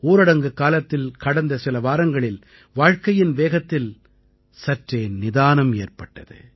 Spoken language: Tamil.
ஊரடங்கு காலத்தில் கடந்த சில வாரங்களில் வாழ்க்கையின் வேகத்தில் சற்றே நிதானம் ஏற்பட்டது